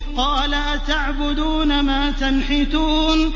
قَالَ أَتَعْبُدُونَ مَا تَنْحِتُونَ